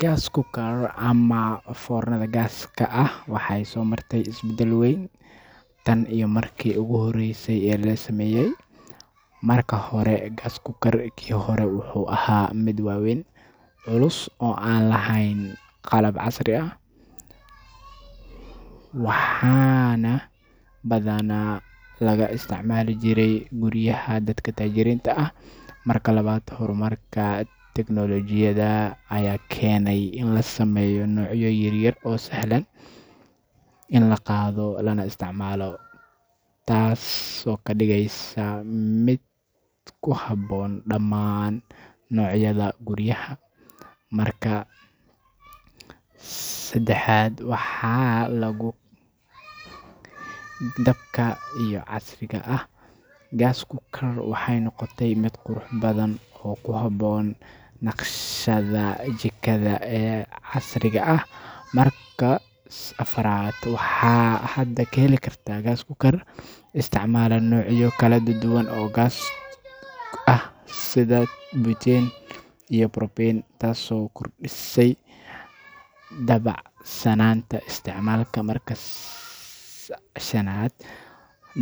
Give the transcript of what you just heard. Gas cooker ama foornada gaaska ah waxay soo martay isbedel weyn tan iyo markii ugu horreysay ee la sameeyay. Marka hore, gas cooker kii hore wuxuu ahaa mid waaweyn, culus oo aan lahayn qalab casri ah, waxaana badanaa laga isticmaali jiray guryaha dadka taajiriinta ah. Marka labaad, horumarka tignoolajiyadda ayaa keenay in la sameeyo noocyo yaryar oo sahlan in la qaado lana isticmaalo, taasoo ka dhigaysa mid ku habboon dhammaan noocyada guryaha. Marka saddexaad, waxaa lagu daray badhamo badbaado leh si loo yareeyo khatarta dabka ama gaaska daadaya, taasoo ka dhigaysa mid ammaan ah. Marka afraad, gas cookers cusub waxay leeyihiin electric ignition, taasoo meesha ka saartay baahida matches ama lighters. Marka shanaad, qaar badan oo ka mid ah noocyada casriga ah ayaa isku dhafan yihiin, iyagoo leh oven, grill, iyo stove hal mar, taasoo ka dhigaysa mid wax badan qaban kara. Marka lixaad, naqshadda gas cookers waxay noqotay mid qurux badan oo ku habboon naqshadaha jikada ee casriga ah. Marka toddobaad, waxaa hadda la heli karaa gas cookers isticmaala noocyo kala duwan oo gaas ah sida butane iyo propane, taasoo kordhisay dabacsanaanta isticmaalka. Marka sideedaad,